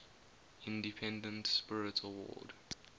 independent spirit award